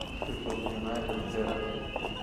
шеффилд юнайтед бернли